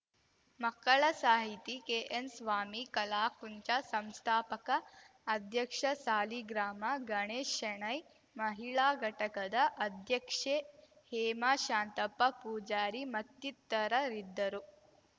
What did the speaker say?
ಮಕ್ಕಳ ಸಾಹಿತಿ ಕೆಎನ್‌ಸ್ವಾಮಿ ಕಲಾಕುಂಚ ಸಂಸ್ಥಾಪಕ ಅಧ್ಯಕ್ಷ ಸಾಲಿಗ್ರಾಮ ಗಣೇಶ್ ಶೆಣೈ ಮಹಿಳಾ ಘಟಕದ ಅಧ್ಯಕ್ಷೆ ಹೇಮಾ ಶಾಂತಪ್ಪ ಪೂಜಾರಿ ಮತ್ತಿತರರಿದ್ದರು